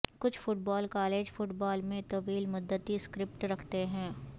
کچھ football college football میں طویل مدتی اسکرپٹ رکھتے ہیں